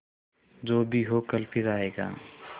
जो भी हो कल फिर आएगा